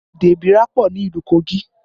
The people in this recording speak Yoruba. Èdè igbira pọ ni ìlú Kogi